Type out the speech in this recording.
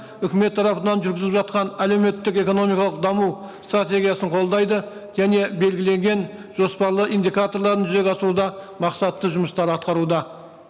үкімет тарапынан жүргізіліп жатқан әлеуметтік экономикалық даму стратегиясын қолдайды және белгіленген жоспарлар индикаторларын жүзеге асыруда мақсатты жұмыстар атқаруда